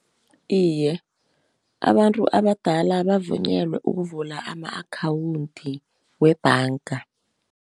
Iye abantu abadala bavunyelwa ukuvula ama-akhawunti webhanga.